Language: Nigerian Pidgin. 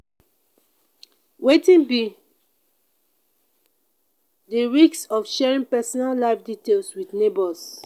wetin be di risks of sharing personal life details with neighbors?